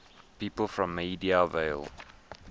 people from maida vale